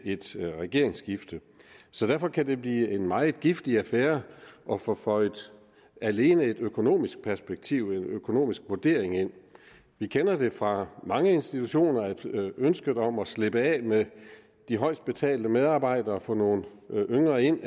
et regeringsskifte så derfor kan det blive en meget giftig affære at få føjet alene et økonomisk perspektiv en økonomisk vurdering ind vi kender det fra mange institutioner at ønsket om at slippe af med de højest betalte medarbejdere og få nogle yngre ind